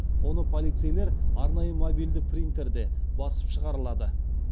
оны полицейлер арнайы мобильді принтерде басып шығарылады